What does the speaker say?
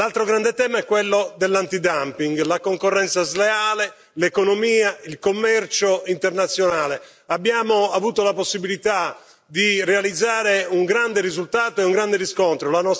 L'altro grande tema è quello dell'antidumping, la concorrenza sleale, l'economia e il commercio internazionale abbiamo avuto la possibilità di ottenere un grande risultato e un grande riscontro.